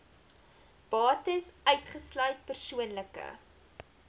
bates uitgesluit persoonlike